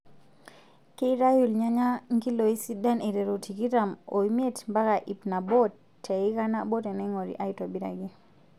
Keitayu irnyanya nkiloi sidan aiteru tikitam omiet mpaka ip Nabo teika nabo teneing'ori aaitobiraki.